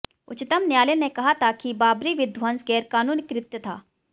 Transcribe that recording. उच्चतम न्यायालय ने कहा था कि बाबरी विध्वंस गैरकानूनी कृत्य था